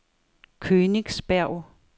Königsberg